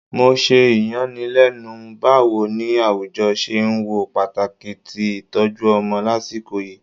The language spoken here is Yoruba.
Mo ṣe iyanilenu bawo ni awujọ ṣe n wo pataki ti itọju ọmọ lasiko yii